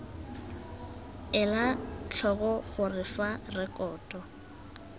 ela tlhoko gore fa rekoto